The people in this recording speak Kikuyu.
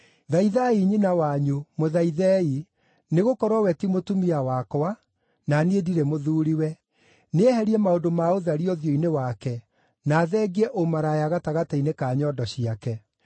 “Thaithai nyina wanyu, mũthaithei, nĩgũkorwo we ti mũtumia wakwa, na niĩ ndirĩ mũthuuriwe. Nĩeherie maũndũ ma ũtharia ũthiũ-inĩ wake, na athengie ũmaraya gatagatĩ-inĩ ka nyondo ciake.